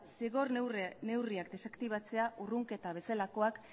zigor neurriak desaktibatzea urrunketa bezalakoak